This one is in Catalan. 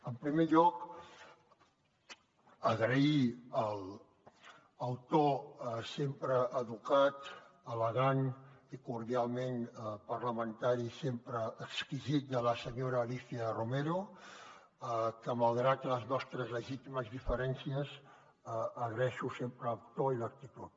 en primer lloc agrair el to sempre educat elegant i cordialment parlamentari sempre exquisit de la senyora alícia romero que malgrat les nostres legítimes diferències agraeixo sempre el to i l’actitud